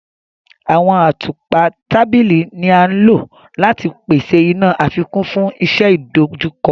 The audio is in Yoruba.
Awọn àtùpà tábìlì ní a ló láti pèsè iná àfikún fún iṣẹ idojukọ.